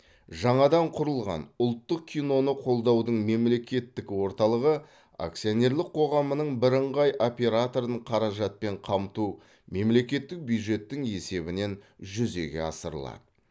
жаңадан құрылған ұлттық киноны қолдаудың мемлекеттік орталығы акционерлік қоғамының бірыңғай операторын қаражатпен қамту мемлекеттік бюджеттің есебінен жүзеге асырылады